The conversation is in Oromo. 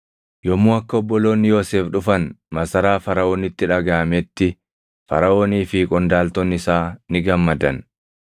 Yommuu akka obboloonni Yoosef dhufan masaraa Faraʼoonitti dhagaʼametti, Faraʼoonii fi qondaaltonni isaa ni gammadan.